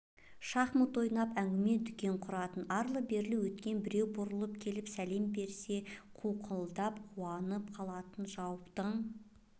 шахмат ойнап әңгіме-дүкен құратын арлы-берлі өткен біреу бұрылып келіп сәлем берсе қауқылдап қуанып қалатын жаутаң